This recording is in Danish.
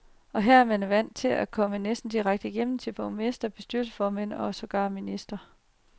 Og her er man vant til at komme næsten direkte igennem til borgmestre, bestyrelsesformænd og sågar ministre.